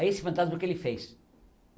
Aí esse fantasma o que ele fez?